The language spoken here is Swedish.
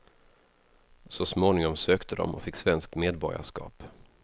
Så småningom sökte de och fick svenskt medborgarskap.